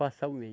Passar o mês.